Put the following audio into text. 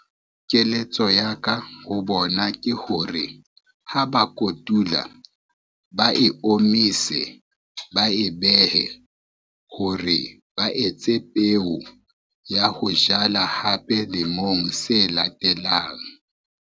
Keletso ya ka ho bona ke hore, ha ba kotula, ba e omise, ba e behe hore ba etse peo ya ho jala hape lemong se latelang.